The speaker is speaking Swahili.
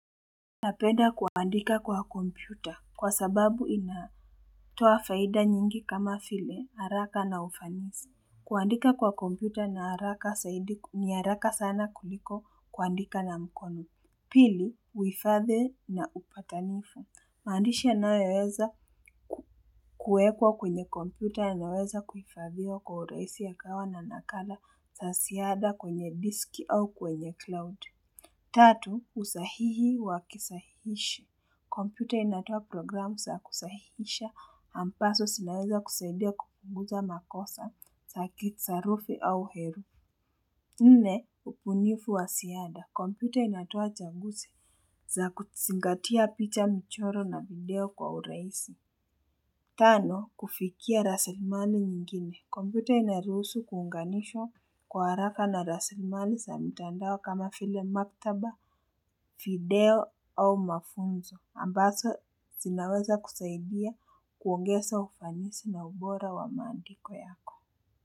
Napenda kuandika kwa kompyuta kwa sababu ina toa faida nyingi kama vile haraka na ufanisi. Kuandika kwa kompyuta ni haraka zaidi ni haraka sana kuliko kuandika na mkono. Pili, huhifadhi na upatanifu. Mandisha nayoweza kuwekwa kwenye kompyuta yanaweza kuhifadhiwa kwa urahisi ya kawa na nakala za ziada kwenye diski au kwenye cloud. Tatu, usahihi wakisahishi. Kompyuta inatoa programu za kusahihisha ambazo zinaweza kusaidia kupunguza makosa, zaki sarufi au heru. Nne, ubunifu wa ziada. Kompyuta inatoa changuzi za kuzingatia picha mchoro na video kwa urahisi. Tano, kufikia rasilimani nyingine. Kompyuta inaruhusu kuunganishwa kwa haraka na rasilimali za mitandao kama vile maktaba, video au mafunzo. Ambazo zinaweza kusaidia kuongeza ufanisi na ubora wa mandiko yako.